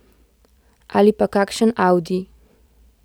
Ali pa kakšen audi.